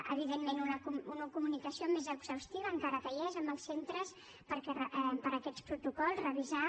evidentment una comunicació més exhaustiva encara que hi és amb els centres per a aquests protocols revisar